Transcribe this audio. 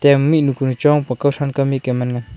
em mihnu kuni chong pa kowthron mik e man ngan.